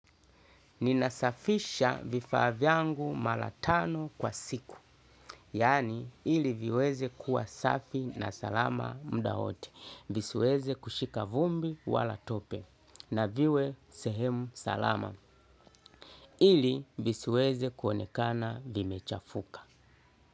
Ninasafisha vifaa vyangu mara tatu kwa siku, yaani ili viweze kuwa safi na salama muda wote, visiweze kushika vumbi wala tope, na viwe sehemu salama. Ili visiweze kuonekana vimechafuka.